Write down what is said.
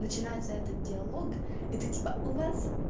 начинается этот диалог это типа у вас